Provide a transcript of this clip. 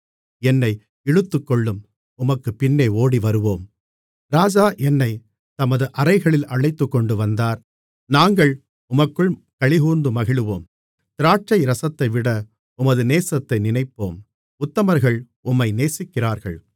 என்னை இழுத்துக்கொள்ளும் உமக்குப் பின்னே ஓடிவருவோம் ராஜா என்னைத் தமது அறைகளில் அழைத்துக்கொண்டு வந்தார் நாங்கள் உமக்குள் களிகூர்ந்து மகிழுவோம் திராட்சைரசத்தைவிட உமது நேசத்தை நினைப்போம் உத்தமர்கள் உம்மை நேசிக்கிறார்கள்